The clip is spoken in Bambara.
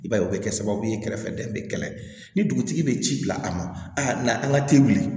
I b'a ye o bɛ kɛ sababu ye kɛrɛfɛdɛn bɛ kɛlɛ ni dugutigi bɛ ci bila a ma a na an ka teli